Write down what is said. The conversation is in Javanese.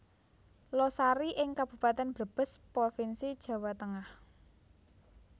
Losari ing Kabupaten Brebes Provinsi Jawa Tengah